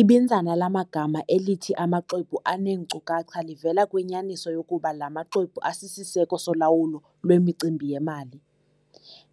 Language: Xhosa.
Ibinzana lamagama elithi amaxwebhu aneenkcukacha livela kwinyaniso yokuba la maxwebhu asisiseko solawulo lwemicimbi yemali.